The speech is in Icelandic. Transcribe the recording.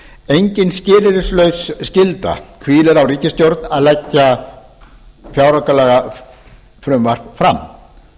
engin skilyrðislaus skylda hvílir á ríkisstjórn að leggja fjáraukalagafrumvarp fram